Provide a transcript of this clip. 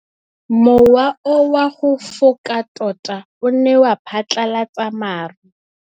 Mowa o wa go foka tota o ne wa phatlalatsa maru.